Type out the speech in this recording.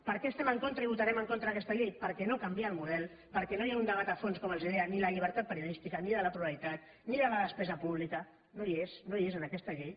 per què estem en contra i votarem en contra d’aquesta llei perquè no canvia el model perquè no hi ha un debat a fons com els deia ni de la llibertat periodística ni de la pluralitat ni de la despesa pública no hi és no hi és en aquesta llei